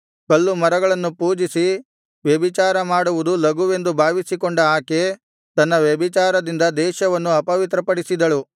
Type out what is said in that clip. ಕಲ್ಲು ಮರಗಳನ್ನು ಪೂಜಿಸಿ ವ್ಯಭಿಚಾರ ಮಾಡುವುದು ಲಘುವೆಂದು ಭಾವಿಸಿಕೊಂಡ ಆಕೆ ತನ್ನ ವ್ಯಭಿಚಾರದಿಂದ ದೇಶವನ್ನು ಅಪವಿತ್ರಪಡಿಸಿದಳು